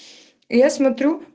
я смотрю